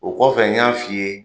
O kɔfɛ n y'a f'i ye.